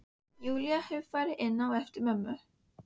Júlía hefur farið inn á eftir mömmu.